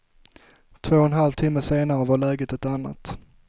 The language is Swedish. Två och en halv timme senare var läget ett annat.